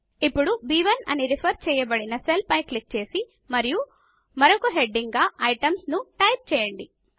ఇప్పుడు బ్1 అని రిఫర్ చేయబడిన సెల్ పైన క్లిక్ చేసి మరియు మరొక హెడింగ్ గా ఐటెమ్స్ ను టైప్ చేయండి